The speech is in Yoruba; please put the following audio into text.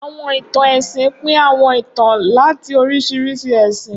Awọn itan ẹsin pin awọn itan lati oriṣiriṣi ẹsin.